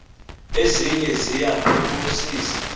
ezinye ziya phosisa